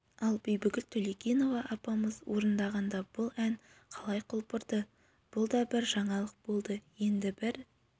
ал бибігүл төлегенова апамыз орындағанда бұл ән қалай құлпырды бұл да бір жаңалық болды енді бір